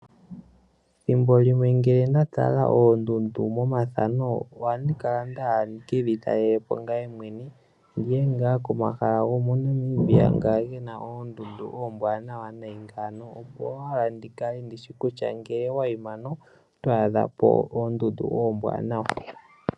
Thimbo limwe nge nda tala oondundu moma thano ohandi kala owala nda hala ndi kedhi talelepo ngaye mwene ndiye ngaa koma hala gomo Namibia nga ge na oondundu oombwanawa me ngano opo wo ndikale ndishi kutya oto adha po oondundu oombwanawa.